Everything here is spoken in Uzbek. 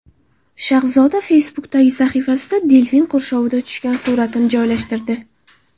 Shahzoda Facebook’dagi sahifasida delfin qurshovida tushgan suratini joylashtirdi .